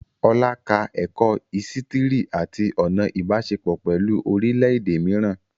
Olá ka ẹ̀kọ́ ísítìrì àti ọ̀nà Ìbáṣepọ̀ pẹ̀lú orílẹ̀ èdè mìíràn